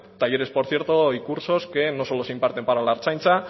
talleres por cierto y cursos que no solo se imparten para la ertzaintza